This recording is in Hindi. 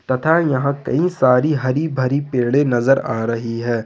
तथा यहां कई सारी हरी भरी पेड़े नजर आ रही है।